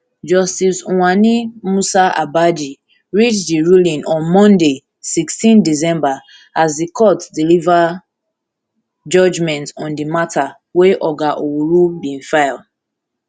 justice uwani musa abaaji read di ruling on monday sixteen december as di court deliver judgement on di mata wey oga owuru bin file